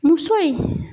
Muso in